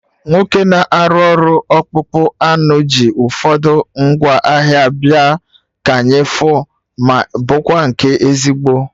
Nwoke na-arụ ọrụ ọkpụkpụ anụ ji ụfọdụ ngwa ahịa abịa, ka anyị fu ma ịbụkwa nke ezigbo